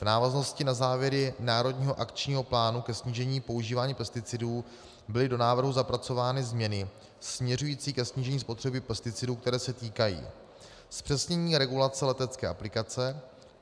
V návaznosti na závěry národního akčního plánu ke snížení používání pesticidů byly do návrhu zapracovány změny směřující ke snížení spotřeby pesticidů, které se týkají zpřesnění regulace letecké aplikace;